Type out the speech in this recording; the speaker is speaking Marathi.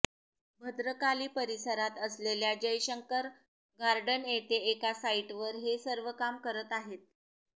भद्रकाली परिसरात असलेल्या जयशंकर गार्डन येथे एका साईटवर हे सर्व काम करत आहेत